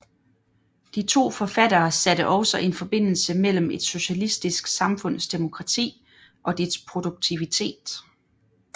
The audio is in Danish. De to forfattere satte også en forbindelse mellem et socialistisk samfunds demokrati og dets produktivitet